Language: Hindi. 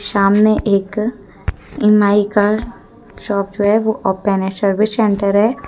सामने एक एम_आई का शॉप है वो ओपन है सर्विस सेंटर है।